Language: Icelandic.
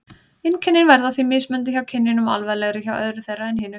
Einkennin verða því mismunandi hjá kynjunum og alvarlegri hjá öðru þeirra en hinu.